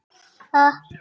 Hann vildi hjálpa mér.